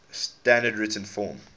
standard written form